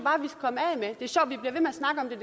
snakke om det